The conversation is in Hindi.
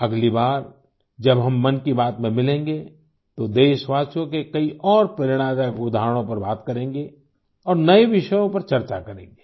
अगली बार जब हम मन की बात में मिलेंगे तो देशवासियों के कई और प्रेरणादायक उदाहरणों पर बात करेंगे और नए विषयों पर चर्चा करेंगे